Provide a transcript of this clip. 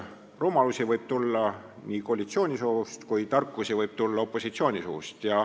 Rumalusi võib tulla ka koalitsiooni suust ja tarkusi võib tulla ka opositsiooni suust.